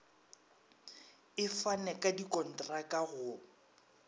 e fane ka dikontraka go